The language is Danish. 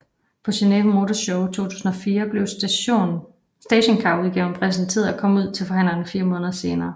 På Geneve Motor Show 2004 blev stationcarudgaven præsenteret og kom ud til forhandlerne fire måneder senere